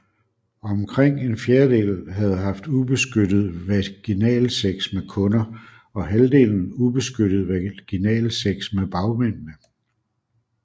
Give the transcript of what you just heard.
Omkring en fjerdel havde haft ubeskyttet vaginalsex med kunder og halvdelen ubeskyttet vaginalsex med bagmændene